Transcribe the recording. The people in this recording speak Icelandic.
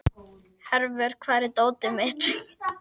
Hervör, hvar er dótið mitt?